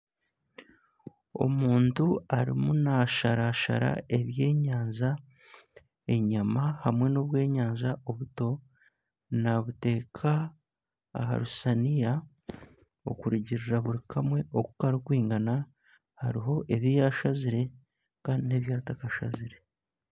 Omuntu arimu nasharashara ebyenyanja, enyama hamwe n'obwenyanja obuto nabuteeka aha rusaniya okurugirira buri kamwe oku kari kwingana. Hariho ebiyashazire Kandi n'ebi atakashazire.